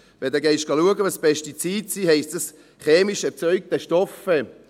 Wenn man schauen geht, was Pestizide sind, heisst es: «chemisch erzeugte Stoffe».